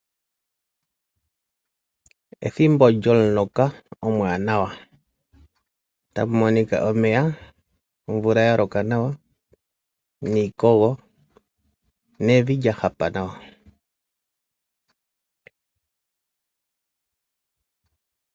Ethimbo lyo muloka omwaanawa, taku monika omeya, omvula ya loka nawa niikogo nevi lya hapa nawa